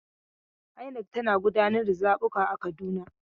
INEC tana gudanar da zabuka a Kaduna.